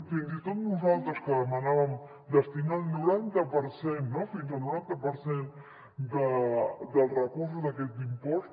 fins i tot nosaltres que demanàvem destinar el noranta per cent fins al noranta per cent dels recursos d’aquest impost